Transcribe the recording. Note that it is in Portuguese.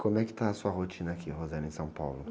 Como é que está a sua rotina aqui, em São Paulo?